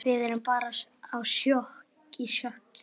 Við erum bara í sjokki.